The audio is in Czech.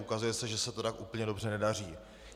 Ukazuje se, že se to tak úplně dobře nedaří.